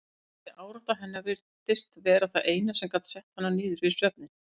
Þessi árátta hennar virtist vera það eina sem gat sett hana niður fyrir svefninn.